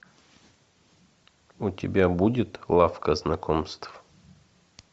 у тебя будет лавка знакомств